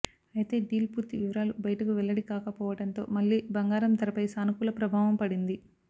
అయితే డీల్ పూర్తి వివరాలు బయటకు వెల్లడి కాకపోవడంతో మళ్లీ బంగారం ధరపై సానుకూల ప్రభావం పడింది